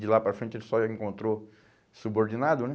De lá para frente ele só encontrou subordinado, né?